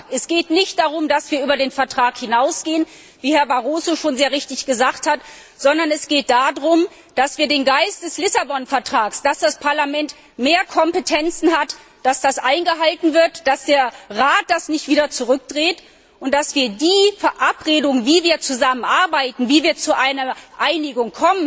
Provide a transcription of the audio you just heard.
Es geht nicht darum, dass wir über den Vertrag hinausgehen, wie Herr Barroso schon sehr richtig gesagt hat, sondern es geht darum, dass der Geist des Lissabon Vertrags, dass das Parlament mehr Kompetenzen hat, eingehalten wird, dass der Rat das nicht wieder zurückdreht und wir die Verabredung, wie wir zusammenarbeiten, wie wir zu einer Einigung